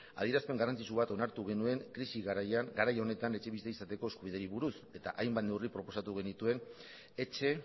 adierazpen garrantzitsu bat onartu genuen krisi garaian etxebizitza izateko eskubideari buruz hainbat neurri proposatu genituen etxe